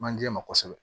Manje ma kosɛbɛ